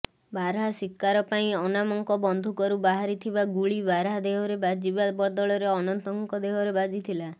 ବାରାହା ଶିକାର ପାଇଁ ଅନାମଙ୍କ ବନ୍ଧୁକରୁ ବାହାରିଥିବା ଗୁଳି ବାରାହା ଦେହରେ ବାଜିବା ବଦଳରେ ଅନନ୍ତଙ୍କ ଦେହରେ ବାଜିଥିଲା